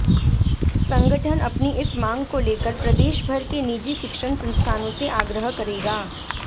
संगठन अपनी इस मांग को लेकर प्रदेश भर के निजी शिक्षण संस्थानों से आग्रह करेगा